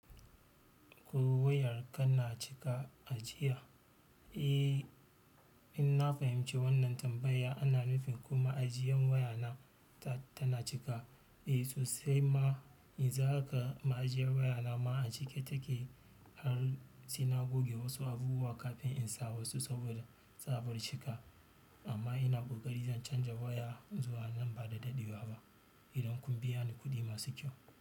Ko wayar ka na cika a jiya? Eh, in na fahimci wannan tambaya ana nufi kuma ajiyan waya na ta, tana cika. Eh, sosai ma, yanzu haka ma'ajiyan waya na ma a cike take har sai na goge wasu abubuwa kafin in sa wasu saboda tsabar cika. Amma ina ƙoƙari zan canza waya zuwa nan ba da daɗewa ba idan kun biya ni kuɗi masu kyau.